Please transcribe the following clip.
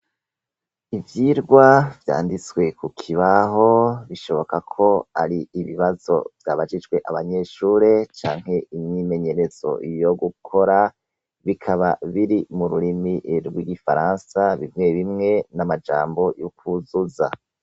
Ivyigwa vyanditswe kukibaho bishoboka kuba ari ibibazo vyabajijwe abanyeshure canke imyimenyerezo yo gukora bikaba biri mururimi rwigifaransa bimwebimwe namajambo yo kwuzuza